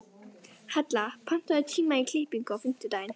Hella, pantaðu tíma í klippingu á fimmtudaginn.